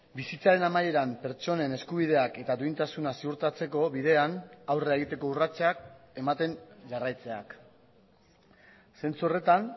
bizitzaren amaieran pertsonen eskubideak eta duintasuna ziurtatzeko bidean aurrera egiteko urratsak ematen jarraitzeak zentzu horretan